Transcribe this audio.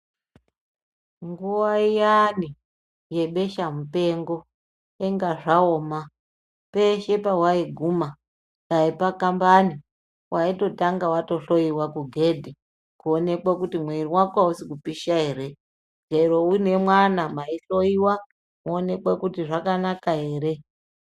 Nguva iyani yebesha mupengo inga zvaoma peshe pavai guma dai pakambani vaitotanga vatohloiwa kugedhi kuonekwa kuti mwiri vako hausi kupisha ere. Chero uine mwana maihloiwa kuonekwe kuti zvakanaka ere.